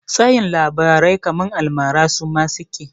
Tayin labarai kaman almara suma suke?